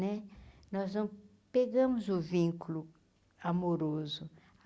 Né nós vamo pegamos o vínculo amoroso.